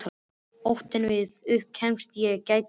Óttinn við að upp kæmist að ég gæti ekkert.